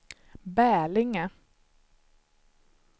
Bälinge